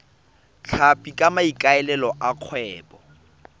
tlhapi ka maikaelelo a kgwebo